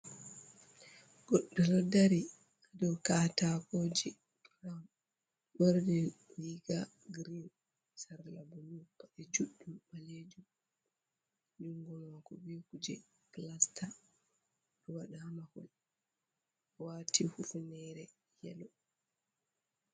Goɗɗo ɗo dari a dow katakooje ɓorni riiga girin ,sarla bulu paɗe juɗɗum ɓaleejum junngo maako be kuje pulasta o ɗo waɗa haa mahol waati hufunere yelo.